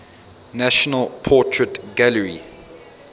national portrait gallery